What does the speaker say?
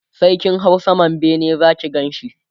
sai kin hau saman bene Zaki Ganshi